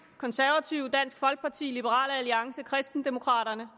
konservative dansk folkeparti liberal alliance og kristendemokraterne